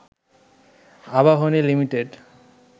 Abahani limited